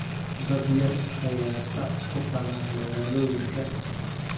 Dad yar ayaa sac ku qala magaalooyinka.